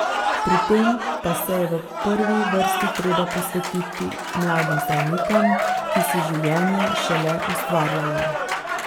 Pri tem pa se je v prvi vrsti treba posvetiti mladim zdravnikom, ki si življenje šele ustvarjajo.